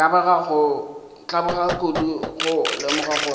tlabega kudu go lemoga gore